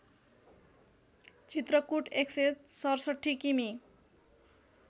चित्रकूट १६७ किमि